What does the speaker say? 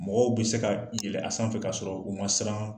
Mɔgɔw be se ka yɛlɛ a sanfɛ k'a sɔrɔ u ma siran.